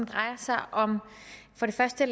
drejer sig for det første